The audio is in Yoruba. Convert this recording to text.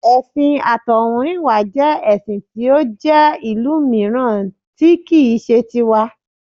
Ẹ̀sìn àtọ̀húnrìnwá jẹ́ ẹṣin tí ó jẹ́ ìlú mìíràn tí kì í ṣe ti wa